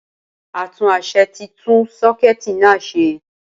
Atúnáṣe tí tún sakuiiti na ṣe